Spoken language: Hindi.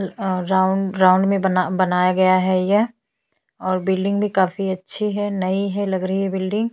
अ राउंड राउंड में बनाया गया है यह और बिल्डिंग भी काफी अच्छी है नई है लग रही है बिल्डिंग --